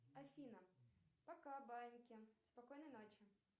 афина пока баиньки спокойной ночи